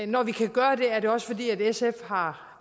når vi kan gøre det er det også fordi sf har